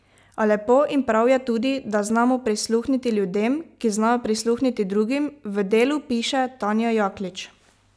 A lepo in prav je tudi, da znamo prisluhniti ljudem, ki znajo prisluhniti drugim, v Delu piše Tanja Jaklič.